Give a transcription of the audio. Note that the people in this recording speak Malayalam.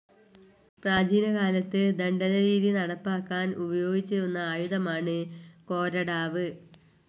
പ്രാചീന കാലത്ത് ദണ്ഡന രീതി നടപ്പാക്കാൻ ഉപയോഗിച്ചിരുന്ന ആയുധമാണ് കൊരടാവ്.